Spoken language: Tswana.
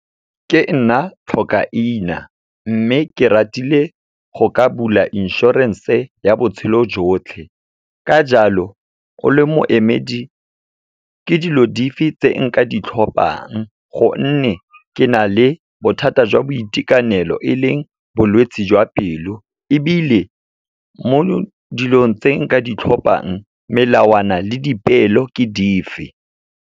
Ke nna tlhokaina, mme ke ratile go ka bula insurance-e ya botshelo jotlhe. Ka jalo o le moemedi, ke dilo dife tse nka di tlhophang gonne, ke na le bothata jwa boitekanelo, e leng bolwetsi jwa pelo. Ebile, mo dilong tse nka di tlhophang, melawana le dipeelo ke dife?